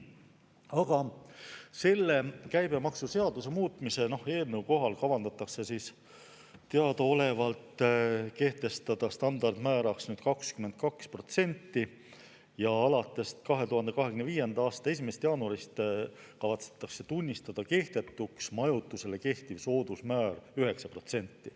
Aga selle käibemaksuseaduse muutmise eelnõu kohaselt plaanitakse teadaolevalt kehtestada standardmääraks 22% ja alates 2025. aasta 1. jaanuarist kavatsetakse tunnistada kehtetuks majutusele kehtiv soodusmäär 9%.